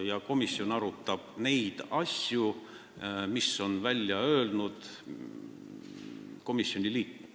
Ja komisjon arutab neid asju, mida on välja öelnud komisjoni liikmed.